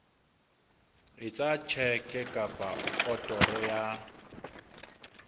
etsa tjheke kapa otoro ya